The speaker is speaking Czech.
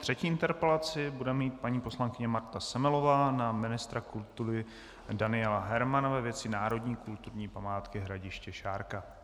Třetí interpelaci bude mít paní poslankyně Marta Semelová na ministra kultury Daniela Hermana ve věci národní kulturní památky Hradiště Šárka.